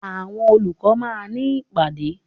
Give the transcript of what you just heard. Àwọn olùkọ́ máà ní ìpàdé.